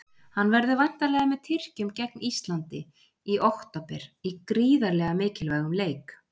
Hann verður væntanlega með Tyrkjum gegn Íslandi í október í gríðarlega mikilvægum leik.